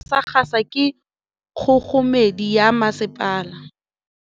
Metsi a go nosetsa dijalo a gasa gasa ke kgogomedi ya masepala.